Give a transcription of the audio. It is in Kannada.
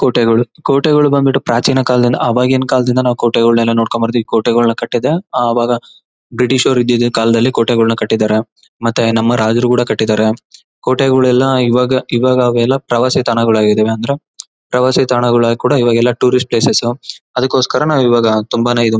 ಕೋಟೆಗಳು ಕೋಟೆಗಳು ಬಂದು ಬಿಟ್ಟು ಪ್ರಾಚೀನ ಕಾಲದಿಂದ ಆವಾಗಿನ ಕಾಲದಿಂದ ಆ ಕೋಟೆಗಳನ್ನೆಲ್ಲ ನೋಡ್ಕೊಂಡು ಬರ್ತಿದೀವಿ ಈ ಕೋಟೆಗಳನ್ನ ಕಟ್ಟಿದ ಅವಾಗ ಬ್ರಿಟಿಷ್ ಅವರು ಈದಿದ್ದ ಕಾಲದಲ್ಲಿ ಕೋಟೆಗಳನ್ನ ಕಟ್ಟಿದ್ದಾರೆ ಮತ್ತೆ ನಮ್ಮ ರಾಜರು ಕೂಡ ಕಟ್ಟಿದ್ದಾರೆ ಕೋಟೆಗಳೆಲ್ಲ ಇವಾಗ ಇವಾಗ ಅವೆಲ್ಲ ಪ್ರವಾಸಿತಾಣಗಳು ಆಗಿದಾವೆ ಅಂದ್ರೆ ಪ್ರವಾಸಿತಾಣಗಳು ಕೂಡ ಇವಾಗೆಲ್ಲ ಟೂರಿಸ್ಟ್ ಪ್ಲೇಸ್ ಅದಿಕ್ಕೇ ಕೋಸ್ಕರ ನಾವು ಇವಾಗ ತುಂಬಾನೇ ಇದು--